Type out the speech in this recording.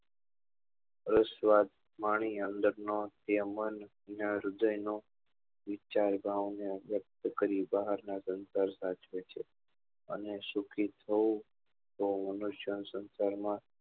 અસ્વાદ પાણી ને અંદર નો એ મન યા હૃદય નો વિચારતા ઓ ને વ્યક્ત કરી બહાર નાં સંસાર સાચવે છે અને સુખી થવું આ મનુષ્ય સંસાર માં